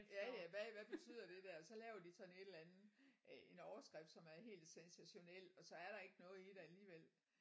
Ja ja hvad hvad betyder det der så laver de sådan en eller anden øh en overskrift som er helt sensationel og så er der ikke noget i det alligevel